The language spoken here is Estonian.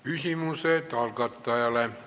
Küsimused algatajale.